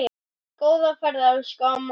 Góða ferð, elsku amma okkar.